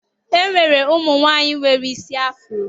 E nwere ụmụ nwaanyị nwere isi afrọ